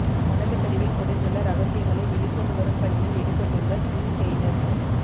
கடலுக்கடியில் புதைந்துள்ள ரகசியங்களை வெளிக்கொண்டு வரும் பணியில் எடுப்பட்டுள்ள ஜில் ஹெய்னர்த்